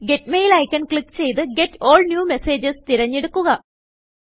get Mailഐക്കൺ click ചെയ്ത് get all new Messagesതെരഞ്ഞെടുക്കുക